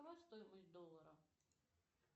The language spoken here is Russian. какова стоимость доллара